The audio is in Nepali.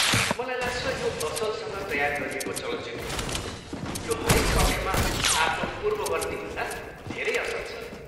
मलाई लाग्छ यो असलसँग तयार गरिएको चलचित्र हो, यो हरेक पक्षमा आफ्नो पूर्ववर्तीभन्दा धेरै असल छ।